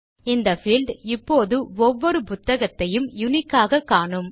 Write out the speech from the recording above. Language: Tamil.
இந்த பீல்ட் இப்போது ஒவ்வொரு புத்தகத்தையும் யுனிக் ஆக காணும்